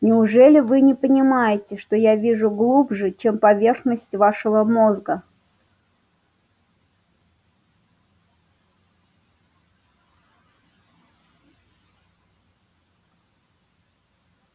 неужели вы не понимаете что я вижу глубже чем поверхность вашего мозга